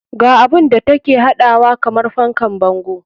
Ga abun da take haɗawa kamar fankan bango.